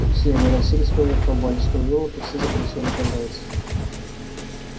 все они расселись по верхним пальчикам ёлок и все закричали по зайцу